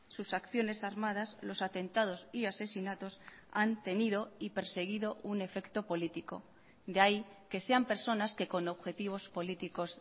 sus acciones armadas los atentados y asesinatos han tenido y perseguido un efecto político de ahí que sean personas que con objetivos políticos